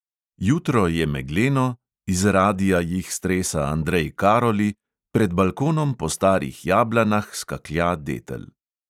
Jutro je megleno, iz radia jih stresa andrej karoli, pred balkonom po starih jablanah skaklja detel.